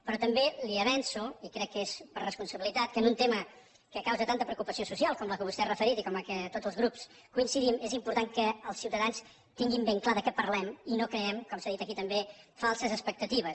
però també li avanço i crec que és per responsabilitat que en un tema que causa tanta preocupació social com la que vostè ha referit i com la que tots els grups hi coincidim és important que els ciutadans tinguin ben clar de què parlem i no creem com s’ha dit aquí també falses expectatives